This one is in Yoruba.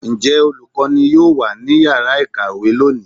njẹ olukọní yọọ wa ní ìyára ikáwe loní?